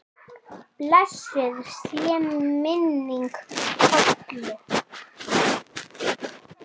Blessuð sé minning Kollu.